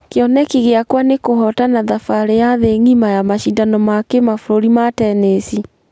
Kĩoneki gĩakwa nĩ kũhotana thabarĩ ya thĩ ngima ya mashidano ma kĩmabũrũri ma tennis.